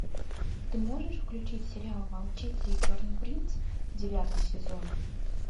ты можешь включить сериал волчица и черный принц девятый сезон